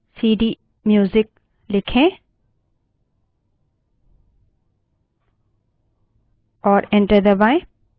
अब प्रत्येक समय इस directory में जाने के लिए केवल सीडीम्यूजिक लिखें और enter दबायें